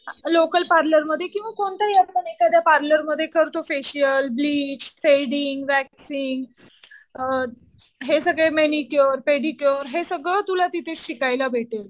Local पार्लरमध्ये किंवा कोणत्याही आपण एखाद्या पार्लरमध्ये करतो फेशियल, ब्लिच, थ्रेडींग, वॅक्सिन्ग हे सगळे मॅनिक्युअर, पेडिक्युअर हे सगळं तुला तिथे शिकायला भेटेल.